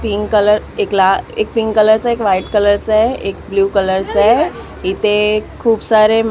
pink colour एक ला एक पिंक कलर चा एक व्हाईट कलर चा आहे एक ब्ल्यू कलर चा आहे इथे खूप सारे --